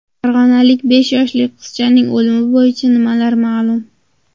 Farg‘onalik besh yoshli qizchaning o‘limi bo‘yicha nimalar ma’lum?.